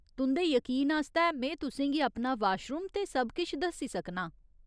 तुं'दे यकीन आस्तै में तुसें गी अपना वाशरूम ते सब किश दस्सी सकनां।